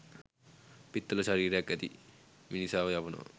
පිත්තල ශරීරයක් ඇති මිනිසාව යවනවා